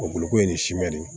O boloko ye nin simɛ de ye